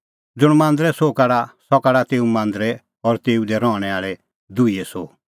ज़ुंण मांदरे सोह काढा सह काढा तेऊ मांदरे और तेऊ दी रहणैं आल़ै दुहीए सोह